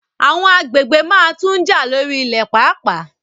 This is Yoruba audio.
Àwọn agbègbè máa tun jà lórí ilẹ̀ paapaa